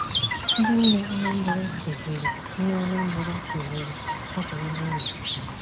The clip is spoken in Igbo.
Ndị nne Anambra kuziri nne Anambra kuziri nsọpụrụ n’ụlọ.